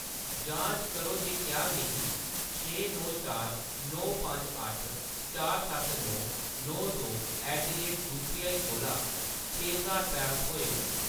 जांच करो जे क्या मिगी छे नौ चार नौ पंज अट्ठ चार सत्त नौ नौ दो ऐट द रेट यूपीआई कोला छे ज्हार रपेऽ थ्होए न।